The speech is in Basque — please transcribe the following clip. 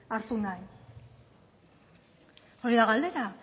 hartu nahi hori da galdera